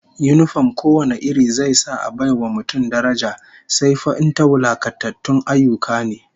Yinifom ko wane iri zai sa a bai wa mutum daraja, sai fa in ta wulakantatun ayyuka ne